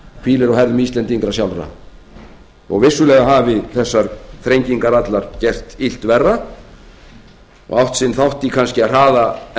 hvílir á herðum íslendinga sjálfra þó vissulega hafi þessar þrengingar allar gert illt verra og átt sinn þátt í kannski að hraða